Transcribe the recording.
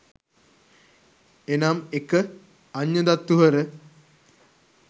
එනම් 1.අඤ්ඤදත්ථු හර